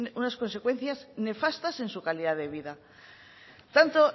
unas consecuencias nefastas en su calidad de vida tanto